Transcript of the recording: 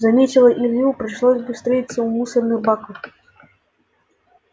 заметила илью пришлось бы встретиться у мусорных баков